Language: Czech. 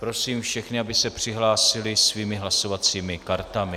Prosím všechny, aby se přihlásili svými hlasovacími kartami.